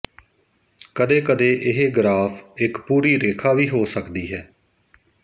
ਕਦੇ ਕਦੇ ਇਹ ਗਰਾਫ਼ ਇੱਕ ਪੂਰੀ ਰੇਖਾ ਵੀ ਹੋ ਸਕਦੀ ਹੈ